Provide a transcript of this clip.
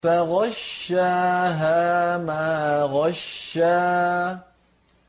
فَغَشَّاهَا مَا غَشَّىٰ